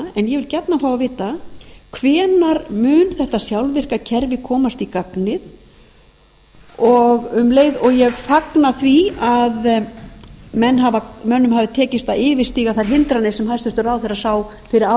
hvenær mun þetta sjálfvirka kerfi komast í gagnið og um leið og ég fagna því að mönnum hafi tekist að yfirstíga þær hindranir sem hæstvirtur ráðherra sá fyrir